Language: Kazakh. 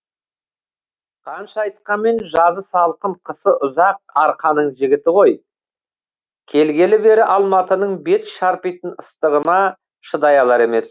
қанша айтқанмен жазы салқын қысы ұзақ арқаның жігіті ғой келгелі бері алматының бет шарпитын ыстығына шыдай алар емес